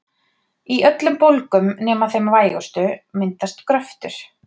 Í öllum bólgum nema þeim vægustu myndast gröftur.